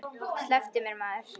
Slepptu mér maður.